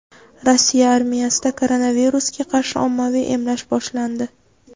Rossiya armiyasida koronavirusga qarshi ommaviy emlash boshlandi.